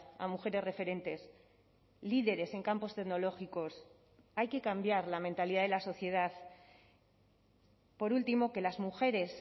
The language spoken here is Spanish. a mujeres referentes líderes en campos tecnológicos hay que cambiar la mentalidad de la sociedad por último que las mujeres